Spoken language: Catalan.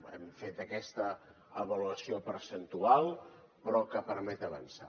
hem fet aquesta avaluació percentual però que permet avançar